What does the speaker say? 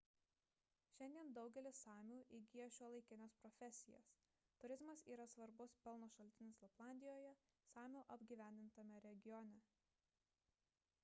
šiandien daugelis samių įgija šiuolaikines profesijas turizmas yra svarbus pelno šaltinis laplandijoje samių apgyvendintame regione